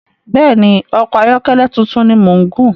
Bẹ́ẹ̀ni, ọkọ ayọ́kẹ́lẹ̀ tuntun ni mò ń gùn